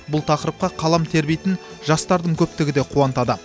бұл тақырыпқа қалам тербейтін жастардың көптігі де қуантады